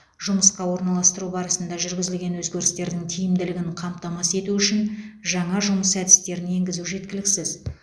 жұмысқа орналастыру барысында жүргізілген өзгерістердің тиімділігін қамтамасыз ету үшін жаңа жұмыс әдістерін енгізу жеткіліксіз